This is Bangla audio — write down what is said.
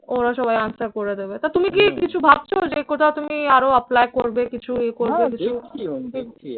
ওরা সবাই answer করে দেবে। তা তুমি কি কিছু ভাবছো যে কোথাও তুমি আরো apply করবে কিছু ইয়ে করবে?